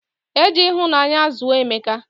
Eji ihunanya zuo emeka